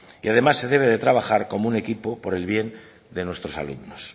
y además se debe de trabajar como un equipo por el bien de nuestros alumnos